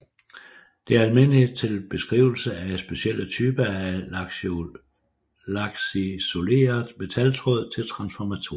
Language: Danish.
Det er almindeligt til beskrivelse af specielle typer af lakisoleret metaltråd til transformatorer